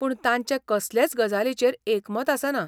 पूण तांचें कसलेच गजालीचेर एकमत आसना.